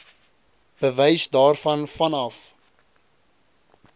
bewys daarvan vanaf